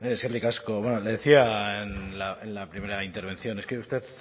eskerrik asko bueno le decía en la primera intervención es que usted